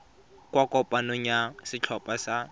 kwa kopanong ya setlhopha sa